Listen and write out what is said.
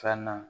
Fana